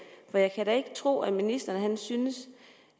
for jeg kan da ikke tro at ministeren synes